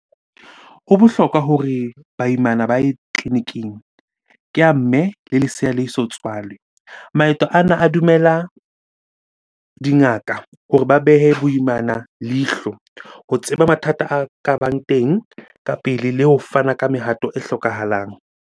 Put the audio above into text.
Ho bohlokwa hore baimana ba ye tleliniking, ke ya mme le lesea le so tswalwe. Maeto ana a dumela dingaka hore ba behe boimana leihlo ho tseba mathata a ka bang teng ka pele le ho fana ka mehato e hlokahalang.